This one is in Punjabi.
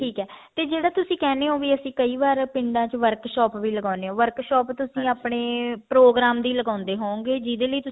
ਠੀਕ ਏ ਤੇ ਜਿਹੜਾ ਤੁਸੀਂ ਕਹਿਨੇ ਵੀ ਓ ਅਸੀਂ ਕਈ ਵਾਰ ਪਿੰਡਾਂ ਚ workshop ਵੀ ਲਗਾਉਣੇ ਹਾਂ workshop ਆਪਣੀ ਪ੍ਰੋਗਰਾਮ ਦੀ ਲਗਾਉਂਦੇ ਹੋਵੋਂਗੇ ਜਿਹੜੇ ਲਈ